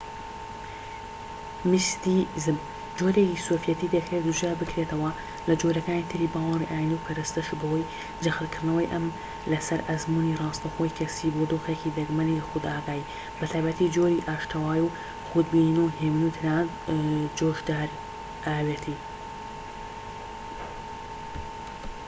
میستیزم جۆرێکی سۆفێتی دەکرێت جودا بکرێتەوە لە جۆرەکانی تری باوەڕی ئاینی و پەرستش بەوەی جەختکردنەوەی ئەم لەسەر ئەزموونی ڕاستەوخۆی کەسیی بۆ دۆخێکی دەگمەنی خودئاگاهی، بە تایبەتی جۆری ئاشتەوایی و خود بینین و هێمنی و تەنانەت جۆشدراوێتی